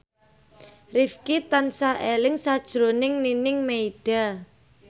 Rifqi tansah eling sakjroning Nining Meida